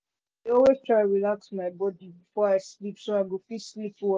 i dey always try relax my body before i sleep so i go fit sleep well.